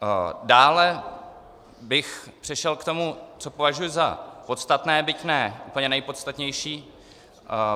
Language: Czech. Dále bych přešel k tomu, co považuji za podstatné, byť ne úplně nejpodstatnější.